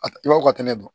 A ti baw ka tɛnɛ dɔn